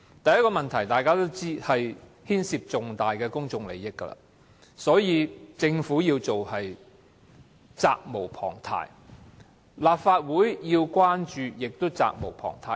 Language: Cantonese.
第一個問題，大家都知道，是此事牽涉重大公眾利益，所以政府展開調查實屬責無旁貸，而立法會要關注也是責無旁貸的。